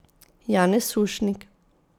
Janez Sušnik.